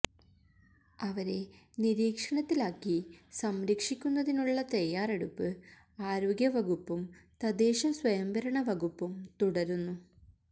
അവരെ നിരീക്ഷണത്തിലാക്കി സംരക്ഷിക്കുന്നതിനുള്ള തയാറെടുപ്പ് ആരോഗ്യവകുപ്പും തദ്ദേശ സ്വയംഭരണ വകുപ്പും തുടരുന്നു